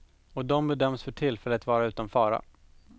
Och de bedöms för tillfället vara utom fara.